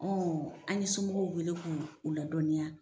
an ye somɔgɔw wele k'u u ladɔniya